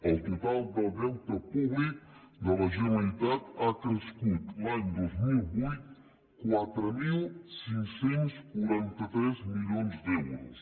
el total del deute públic de la generalitat ha crescut l’any dos mil vuit en quatre mil cinc cents i quaranta tres milions d’euros